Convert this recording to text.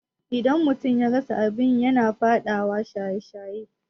Idan mutum ya rasa abin yi yana faɗawa shaye-shaye